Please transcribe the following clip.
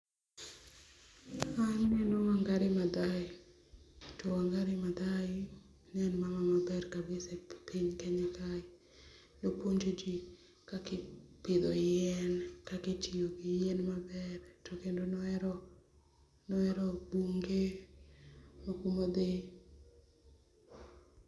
Ma aneno Wangari Mathai, to Wangari Mathai ne en mama ma maber kabisa e piny Kenya kae. Ne opuonjo ji kaka ipidho yien, kaka itiyo gi yien maber to kendo ne ohero ne ohero bunge moko modhi.